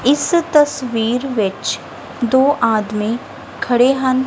ਇਸ ਤਸਵੀਰ ਵਿੱਚ ਦੋ ਆਦਮੀ ਖੜੇ ਹਨ।